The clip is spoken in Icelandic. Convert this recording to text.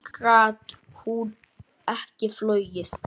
Gat hún ekki flogið?